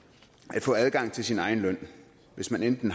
at få adgang til sin egen løn hvis man enten